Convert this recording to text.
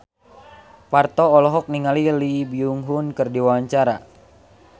Parto olohok ningali Lee Byung Hun keur diwawancara